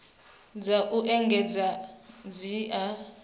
dza u engedzedza dzi a